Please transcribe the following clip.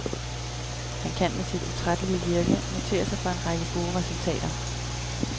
Han kan med sit utrættelige virke notere sig for en række gode resultater.